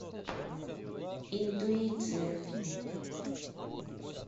интуиция